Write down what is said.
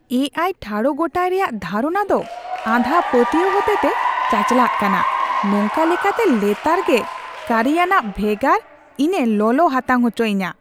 ᱮ ᱟᱭ ᱴᱷᱟᱲᱚᱜᱚᱴᱟᱭ ᱨᱮᱭᱟᱜ ᱫᱷᱟᱨᱚᱱᱟ ᱫᱚ ᱟᱸᱫᱷᱟ ᱯᱟᱹᱛᱭᱟᱹᱣ ᱦᱚᱛᱮᱛᱮ ᱪᱟᱪᱟᱞᱟᱜ ᱠᱟᱱᱟ, ᱱᱚᱝᱠᱟ ᱞᱮᱠᱟᱛᱮ ᱞᱮᱛᱟᱲᱜᱮ ᱠᱟᱹᱨᱤᱭᱟᱱᱟᱜ ᱵᱷᱮᱜᱟᱨ, ᱤᱧᱮ ᱞᱚᱞᱚ ᱦᱟᱛᱟᱝ ᱚᱪᱚᱭᱤᱧᱟ ᱾